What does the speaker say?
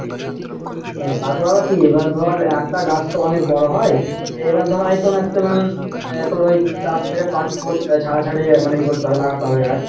তারপরে আবার কি এইবার ধরে একটা গাছ তো অনেক বড়ো হয় এইবার ধর হয়তো maximum আহ তোর ওই চার থেকে পাঁচ ফুট ছাড়া ছাড়ি এ করতে হবে মানে লাগাতে হবে গাছ।